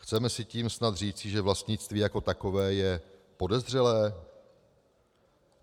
Chce se tím snad říci, že vlastnictví jako takové je podezřelé?"